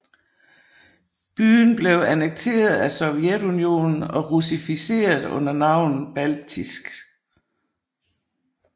Byen blev annekteret af Sovjetunionen og russificeret under navnet Baltijsk